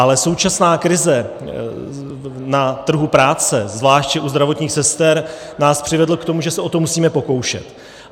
Ale současná krize na trhu práce, zvláště u zdravotních sester, nás přivedla k tomu, že se o to musíme pokoušet.